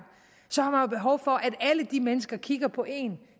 har behov for at alle de mennesker kigger på en